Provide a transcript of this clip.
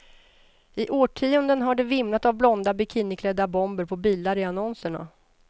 I årtionden har det vimlat av blonda, bikiniklädda bomber på bilar i annonserna.